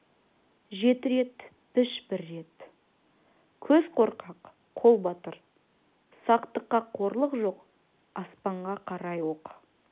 жеті рет піш бір рет көз қорқақ қол батыр сақтықта қорлық жоқ аспанға қарай оқ